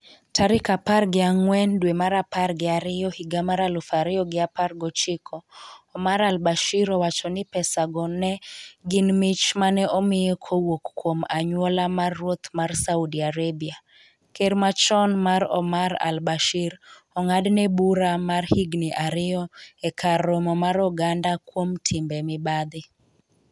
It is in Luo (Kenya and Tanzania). tarik apar gi ang'wen dwe mar apar gi ariyo higa mar aluf ariyo gi apar gochiko Omar al Bashir owacho ni pesa go ne gin mich mane omiye kowuok kuom anyuola mar ruoth mar Saudi Arabia. Ker machon mar Omar al Bashir ong'adne bura mar higni ariyo e kar romo mar oganda kuom timbe mibadhi